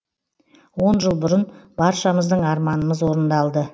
он жыл бұрын баршамыздың арманымыз орындалды